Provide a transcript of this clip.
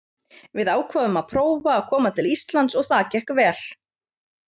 Við ákváðum að prófa að koma til Íslands og það gekk vel.